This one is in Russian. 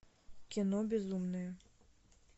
кино безумные